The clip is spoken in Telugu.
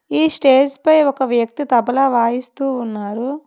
ఈ స్టేజ్ పై ఒక వ్యక్తి తబలా వాయిస్తూ ఉన్నారు.